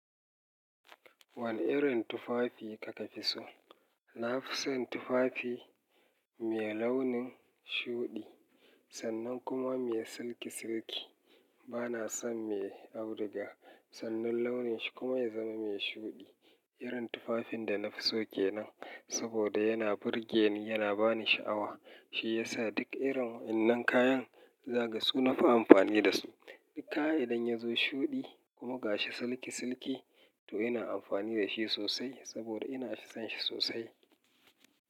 Wane irin tufafi kaka fi so? Na fi son tufafi mai launin shuɗi sannan kuma mai silki silki. Bana son mai auduga sannan launin shi kuma ya zama mai shuɗi. Irin tufafin da na fi so ke nan saboda yana burge ni, yana ba ni sha'awa. Shi ya sa duk irin wannan kayan zaga su na fi amfani da su. Duk kaya idan ya zo shuɗi kuma ga shi silki silki to ina amfani da shi sosai saboda ina son shi sosai.